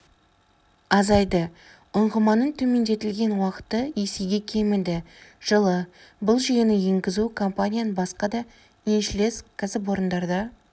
азайды ұңғыманың төмендетілген уақыты есеге кеміді жылы бұл жүйені енгізу компанияның басқа да еншілес кәсіпорындарында